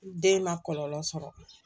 Den ma kɔlɔlɔ sɔrɔ